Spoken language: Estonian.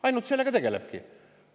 Ainult sellega tegelebki.